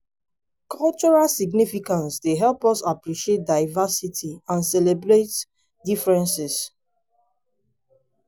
cultural significance dey help us appreciate diversity and celebrate differences.